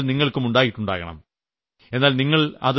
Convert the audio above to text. ഇങ്ങനെയുളള അനുഭവങ്ങൾ നിങ്ങൾക്കും ഉണ്ടായിട്ടുണ്ടാകണം